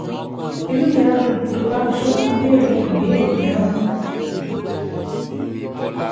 Inú mi á dùn tó o bá tún béèrè ìbéèrè mìíràn